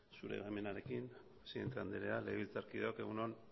zure baimenarekin presidente andrea legebiltzarkideok egun on